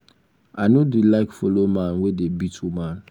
i no dey like follow man wey dey beat woman